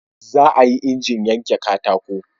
za a yi injin yanke katako